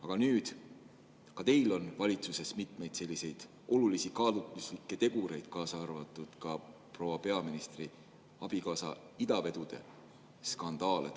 Aga nüüd on ka teil valitsuses mitmeid olulisi kaalutluslikke tegureid, kaasa arvatud proua peaministri abikaasa idavedude skandaal.